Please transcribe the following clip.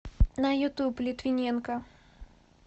на ютуб литвиненко